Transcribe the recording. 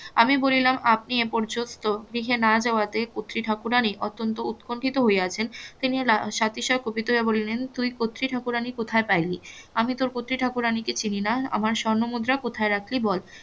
আমি বলিলাম আপনি এ পর্যন্ত গৃহে না যাওয়াতে কতৃ ঠাকুরানী অত্যন্ত উৎকণ্ঠিত হইয়াছেন তিনি সাথে সাথে কুপিত হয়ে বলিলেন তুই কতৃ ঠাকুরানী কোথায় পাইলি আমি তোর কতৃ ঠাকুরানী কে চিনি না আমার স্বর্ণ মুদ্রা কোথায় রাখলি বল